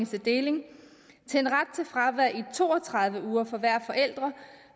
til deling til en ret til fravær i to og tredive uger for hver forælder